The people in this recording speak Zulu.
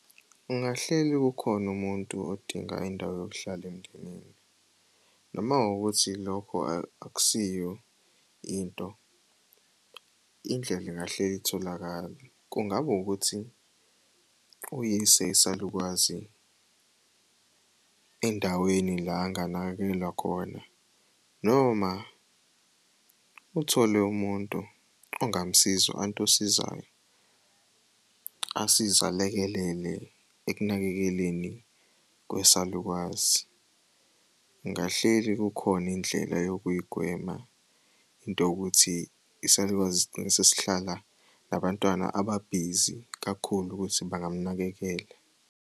Ungahleli kukhona umuntu odinga indawo yokuhlala . Uma kuwukuthi lokho akusiyo into, indlela ingahleli itholakale. Kungaba ukuthi uyise isalukazi endaweni la anganakekelwa khona noma uthole umuntu ongamsiza, u-anti osizayo asize alekelele ekunakekeleni kwesalukazi. Ngingahleli kukhona indlela yokuy'gwema into yokuthi isalukwazi sigcine sesihlala nabantwana ababhizi kakhulu ukuthi bangamunakekela.